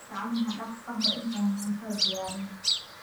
Gacmaha dhaq ka hor intaadan cuntada diyaarin.